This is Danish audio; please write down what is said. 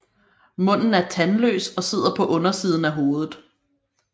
Munden er tandløs og sidder på undersiden af hovedet